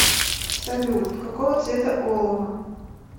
салют какого цвета олово